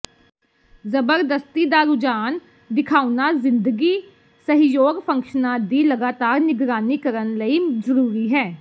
ਜ਼ਬਰਦਸਤੀ ਦਾ ਰੁਝਾਨ ਦਿਖਾਉਣਾ ਜ਼ਿੰਦਗੀ ਸਹਿਯੋਗ ਫੰਕਸ਼ਨਾਂ ਦੀ ਲਗਾਤਾਰ ਨਿਗਰਾਨੀ ਕਰਨ ਲਈ ਜ਼ਰੂਰੀ ਹੈ